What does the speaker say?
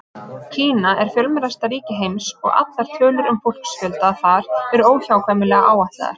Kína er fjölmennasta ríki heims og allar tölur um fólksfjölda þar eru óhjákvæmilega áætlaðar.